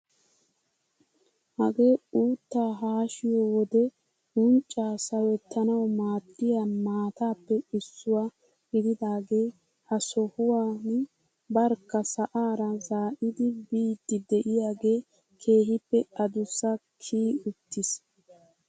Hagee uuttaa haashshiyo wode unccaa sawettanawu maaddiyaa maatappe issuwaa gididagee ha sohuwaan barkka sa'aara zaa'idi biidi de'iyagee keehippe adussaa kiyi uttiis!